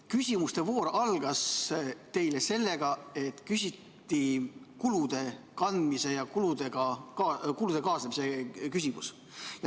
Küsimuste voor algas teil sellega, et küsiti kulude kandmise ja kulude kaasnemise kohta.